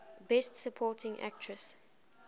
best supporting actress